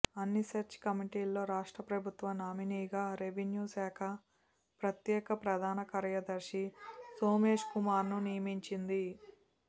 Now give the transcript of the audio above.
అన్ని సెర్చ్ కమిటీల్లో రాష్ట్ర ప్రభుత్వ నామినీగా రెవెన్యూ శాఖ ప్రత్యేక ప్రధాన కార్యదర్శి సోమేశ్కుమార్ను నియమించింది